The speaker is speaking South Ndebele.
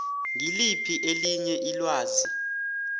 ngiliphi elinye ilwazi